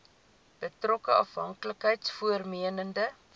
betrokke afhanklikheids vormende